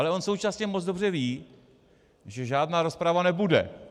Ale on současně moc dobře ví, že žádná rozprava nebude.